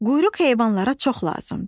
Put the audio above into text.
Quyruq heyvanlara çox lazımdır.